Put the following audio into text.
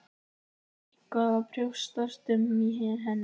En það er eitthvað að brjótast um í henni.